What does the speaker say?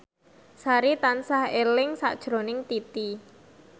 Sari tansah eling sakjroning Titi